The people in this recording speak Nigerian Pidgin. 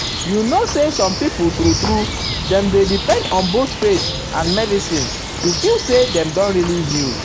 you know na some people true true dem dey depend on both faith um and medicine um to feel say dem don really heal.